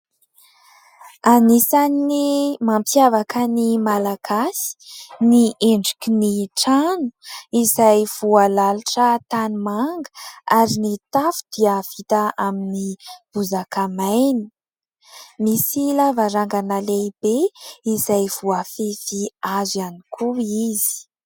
Anisan'ny mampiavaka ny malagasy ny endrikin'ny trano izay voalalotra tanimanga ary ny tafo dia vita amin'ny bozaka maina. Misy lavarangana lehibe izay voafefy hazo ihany koa izy.